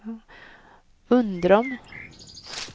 Undrom